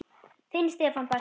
Þinn Stefán Bjarki.